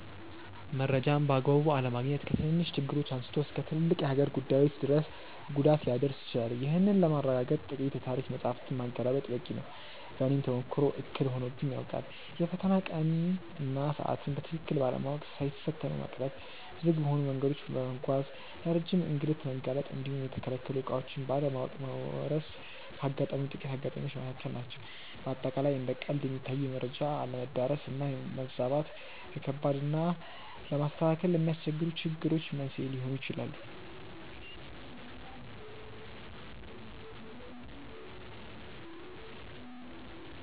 መረጃን በአግባቡ አለማግኘት ከትንንሽ ችግሮች አንስቶ እስከ ትልልቅ የሀገር ጉዳዮች ድረስ ጉዳት ሊያደርስ ይችላል። ይህንን ለማረጋገጥ ጥቂት የታሪክ መጻሕፍትን ማገላበጥ በቂ ነው። በእኔም ተሞክሮ እክል ሆኖብኝ ያውቃል። የፈተና ቀንን እና ሰዓትን በትክክል ባለማወቅ ሳይፈተኑ መቅረት፣ ዝግ በሆኑ መንገዶች በመጓዝ ለረጅም እንግልት መጋለጥ እንዲሁም የተከለከሉ ዕቃዎችን ባለማወቅ መወረስ ካጋጠሙኝ ጥቂት አጋጣሚዎች መካከል ናቸው። በአጠቃላይ እንደ ቀልድ የሚታዩ የመረጃ አለመዳረስ እና መዛባት፣ ለከባድ እና ለማስተካከል ለሚያስቸግሩ ችግሮች መንስኤ ሊሆኑ ይችላሉ።